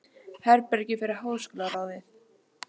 Herbergi fyrir háskólaráðið.